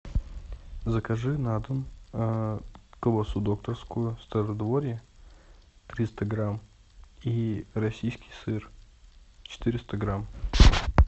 закажи на дом колбасу докторскую стародворье триста грамм и российский сыр четыреста грамм